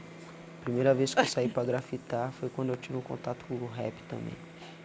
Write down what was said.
A primeira vez que eu saí para grafitar foi quando eu tive um contato com o rap também.